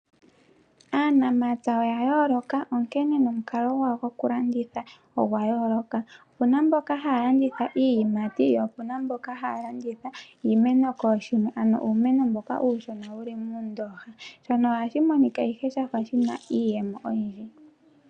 Aanamapya oya yooloka onkene nomukalo gwawo gokulanditha ogwa yooloka. Opu na mboka haya landitha iiyimati po opu na mboka haya landitha iimeno kooshimwe, ano uumeno mboka uushona wu li muundooha. Shono ohashi monika ihe sha fa shi na iiyemo oyindji.